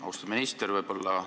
Austatud minister!